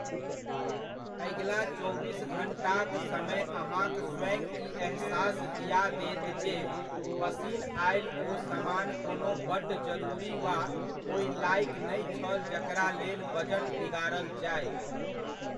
अगिला चौबीस घण्टाक समय अहाँक स्वयं ई एहसास दिआ देत जे पसिन आयल ओ समान कोनो बड्ड जरुरी वा ओहि लाएक नहि छल जकरा लेल बजट बिगाड़ल जाय।